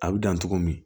A bi dan togo min